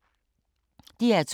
DR2